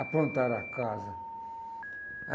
Aprontaram a casa.